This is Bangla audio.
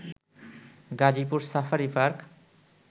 Gazipur safari park